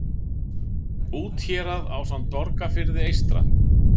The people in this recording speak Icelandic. úthérað ásamt borgarfirði eystra